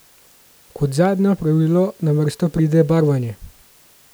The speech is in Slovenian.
Kot zadnje opravilo na vrsto pride barvanje.